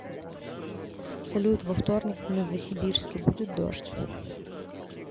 салют во вторник в новосибирске будет дождь